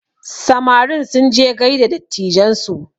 Samarin sunje gaida dattijan su